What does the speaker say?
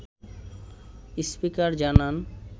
speaker জানান